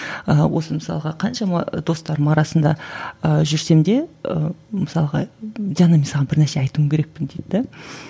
ыыы осы мысалға қаншама достарымның арасында ыыы жүрсем де ы мысалға диана мен саған бір нәрсе айтуым керекпін дейді де